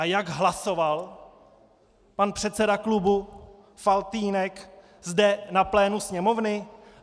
A jak hlasoval pan předseda klubu Faltýnek zde na plénu Sněmovny?